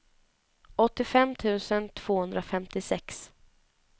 åttiofem tusen tvåhundrafemtiosex